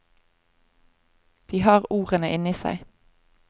De har ordene inne i seg.